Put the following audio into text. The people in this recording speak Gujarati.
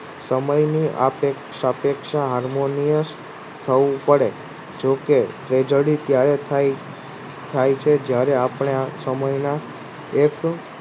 સમય ની સાપેક્ષા Harmonist થવું પડે જો કે ત્યારે થાય જે જયારે આપણે સમયના એક